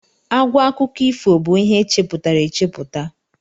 Àgwà akụkọ ifo bụ ihe e chepụtara echepụta.